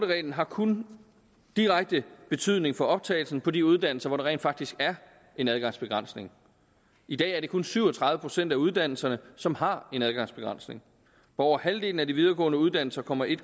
reglen har kun direkte betydning for optagelsen på de uddannelser hvor der rent faktisk er en adgangsbegrænsning i dag er det kun syv og tredive procent af uddannelserne som har en adgangsbegrænsning på over halvdelen af de videregående uddannelser kommer en